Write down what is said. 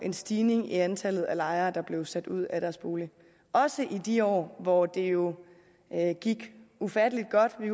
en stigning i antallet af lejere der er blevet sat ud af deres bolig også i de år hvor det jo gik ufattelig godt vi